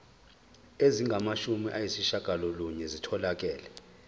ezingamashumi ayishiyagalolunye zitholakele